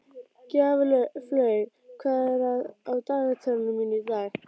Gjaflaug, hvað er á dagatalinu mínu í dag?